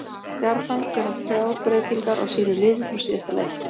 Stjarnan gera þrjár breytingar á sínu liði frá síðasta leik.